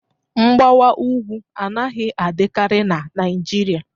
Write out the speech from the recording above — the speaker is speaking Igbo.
Mgbawa ugwu anaghị adịkarị na Naịjirịa